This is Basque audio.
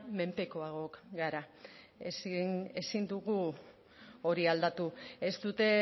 menpekoagoak gara ezin dugu hori aldatu ez dute